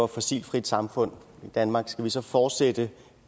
fossilfrit samfund i danmark skal vi så fortsætte